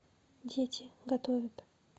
дети готовят